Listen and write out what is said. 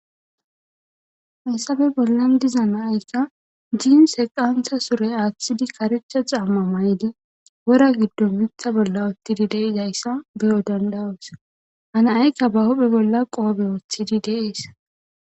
hessafe bollan diza naaykka jiin se qantha sure aaththidi karecha xamma may7di wora giddon mitha bolla uttidi deizayssa beyo dandawos hanaykka ba hophe bolla qoobe wooththidi deees